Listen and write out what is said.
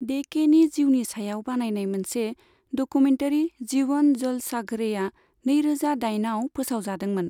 Day के नि जीउनि सायाव बानायनाय मोनसे डकुमेनतारि 'जीवन जलसाघ'रे' आ नैरोजा दाइनआव फोसावजादोंमोन।